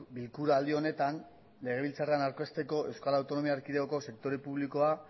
bilkuraldi honetan legebiltzarran aurkezteko euskal autonomia erkidegoko sektore publikoa